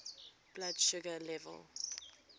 blood sugar level